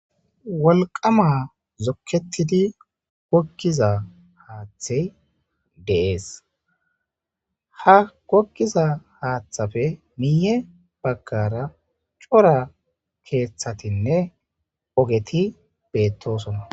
wolqama zokketidi gokkiza haaththey deees ha gokkiza haaththafe miiye baggara cora keeththatinne ogeti beettosona